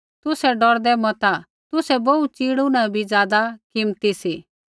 तुसै डौरदै मता तुसै बोहू च़िड़ू न बी ज़ादा कीमती सी